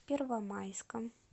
первомайском